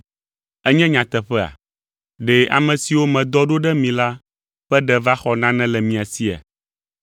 Enye nyateƒea? Ɖe ame siwo medɔ ɖo ɖe mi la ƒe ɖe va xɔ nane le mia sia?